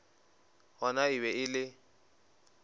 gona e be e le